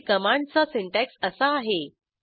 read कमांडचा syntax असा आहे